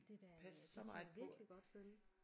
Det da det kan jeg virkelig godt følge